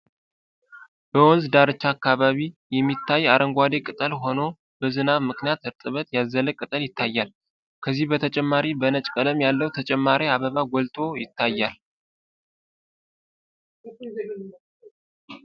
በወንዝ ዳርቻ አካባቢ የሚታይ አረንጓዴ ቅጠል ሆኖ በዝናብ ምክንያት እርጥበት ያዘለ ቅጠል ይታያል። ከዚህም በተጨማሪ በነጭ ቀለም ያለው ተጨማሪ አበባ ጎልቶ ይታያል ።